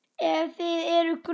Ef það er grun